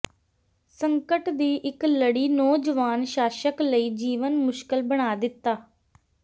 ਸੰਕਟ ਦੀ ਇੱਕ ਲੜੀ ਨੌਜਵਾਨ ਸ਼ਾਸਕ ਲਈ ਜੀਵਨ ਮੁਸ਼ਕਲ ਬਣਾ ਦਿੱਤਾ